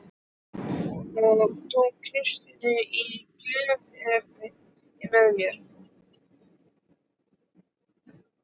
Og tek Kristínu í gönguferðir með mér